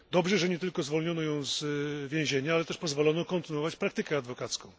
Dobrze, że nie tylko zwolniono ją z więzienia, ale też pozwolono kontynuować praktykę adwokacką.